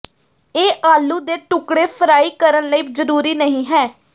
ਇਹ ਆਲੂ ਦੇ ਟੁਕੜੇ ਫਰਾਈ ਕਰਨ ਲਈ ਜ਼ਰੂਰੀ ਨਹੀ ਹੈ